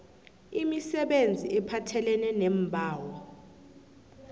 imisebenzi ephathelene neembawo